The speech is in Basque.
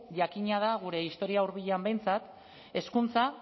jakina da gure historia hurbilean behintzat hezkuntza